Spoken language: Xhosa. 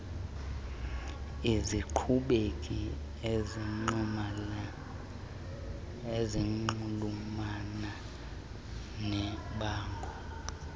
ezinkqubeni ezinxulumana nebango